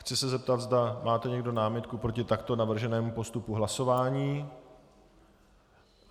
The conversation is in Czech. Chci se zeptat, zda máte někdo námitku proti takto navrženému postupu hlasování.